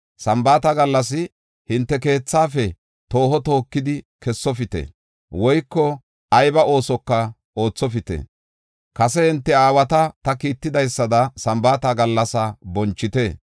Sambaata gallas hinte keethaafe tooho tookidi kessofite, woyko aybi oosoka oothopite. Kase hinte aawata ta kiittidaysada Sambaata gallas bonchite.